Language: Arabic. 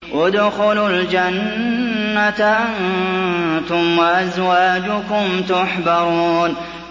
ادْخُلُوا الْجَنَّةَ أَنتُمْ وَأَزْوَاجُكُمْ تُحْبَرُونَ